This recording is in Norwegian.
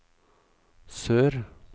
sør